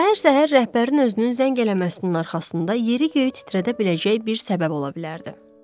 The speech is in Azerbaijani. Səhər-səhər rəhbərin özünün zəng eləməsinin arxasında yeri-göyü titrədə biləcək bir səbəb ola bilərdi.